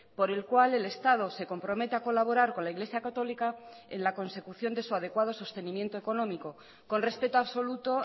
por el cual el estado se compromete a colaborar con la iglesia católica en la consecución de su adecuado sostenimiento económico con respeto absoluto